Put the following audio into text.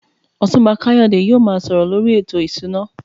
Otunba Kayode yóò máa sọ̀rọ̀ lórí ètò ìṣúná.